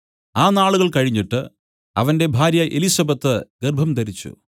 ആ നാളുകൾ കഴിഞ്ഞിട്ട് അവന്റെ ഭാര്യ എലിസബെത്ത് ഗർഭംധരിച്ചു